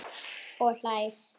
Og hlær.